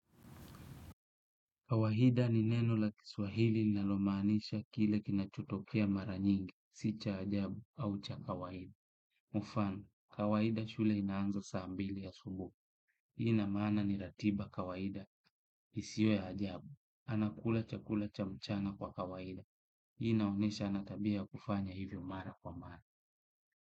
Kawaida ni neno la kiswahili linalomaanisha kile kinachotokea mara nyingi, si cha ajabu au cha kawaida. Mfano kawaida shule inaanza saa mbili asubuhi. Ina maana ni ratiba kawaida isiyo ya ajabu. Anakula cha kula cha mchana kwa kawaida. Inaonesha ana tabia ya kufanya hivyo mara kwa mara.